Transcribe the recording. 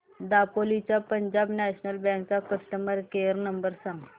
दापोली च्या Punjab national bank चा customer care number सांग